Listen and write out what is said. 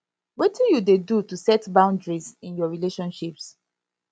wetin you dey do to set boundaries in your relationships